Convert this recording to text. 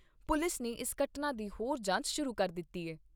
police ਨੇ ਇਸ ਘਟਨਾ ਦੀ ਹੋਰ ਜਾਂਚ ਸ਼ੁਰੂ ਕਰ ਦਿੱਤੀ ਏ